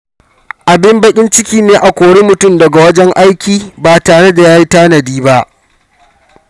Abin baƙin ciki ne a kori mutum daga wajen aiki ba tare da ya yi tanadi ba.